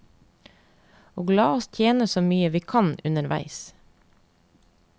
Og la oss tjene så mye vi kan underveis.